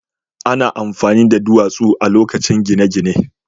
Ana amfani da duwatsu a lokacin gine-gine.